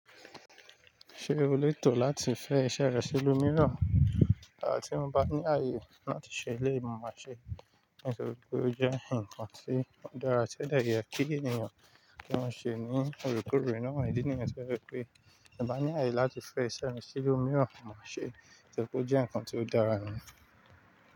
Ṣé o lè tò láti fẹ́ iṣẹ́ rẹ sí ilu miran? À, ti mo bá ní ààyè láti ṣe eléyi mọ̀ má ṣe. Nítorí pé ó jẹ́ ǹkan tí ó dára tẹ́dẹ̀ yẹ kí ènìyàn kí wọ́n ṣe ní òorekoòre ná. Ìdí nìyẹn jẹ wípé ti n bá ní ààyè láti fẹ́ iṣẹ́ rẹ sí ilu miiran maa ṣe torí pé ó jẹ́ nǹkan tí ó dára nì.